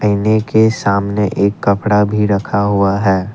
के सामने एक कपड़ा भी रखा हुआ है।